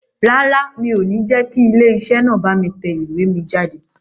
Rárá, mi ò ní jẹ́ kí ilé iṣẹ́ náà bá mi tẹ ìwé mi jáde